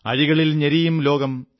അഴികളിൽ ഞെരിയും ലോകം